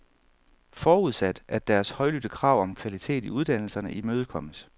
Forudsat, at deres højlydte krav om kvalitet i uddannelserne imødekommes.